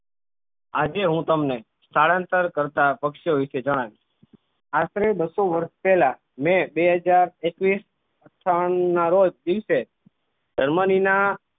આજે હું તમને સ્થાનાંતર કરતાં પક્ષીઓ વિશે જણાવિશ આશરે બસો વર્ષ પેહલા મે બે હજાર એકવીશ અઠાવનના રોજ દિવસે જર્મની ના